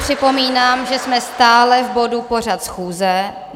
Připomínám, že jsme stále v bodu Pořad schůze.